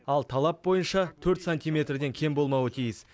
ал талап бойынша төрт сантиметрден кем болмауы тиіс